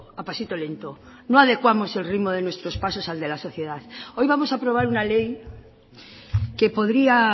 a pasito lento no adecuamos el ritmo de nuestros pasos al de la sociedad hoy vamos a aprobar una ley que podría